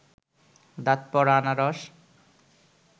দাঁত পড়া আনারস